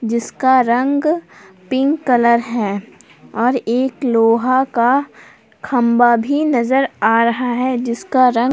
जिसका रंग pink colour है और एक लोहा का खंभा भी नजर आ रहा है जिसका रंग--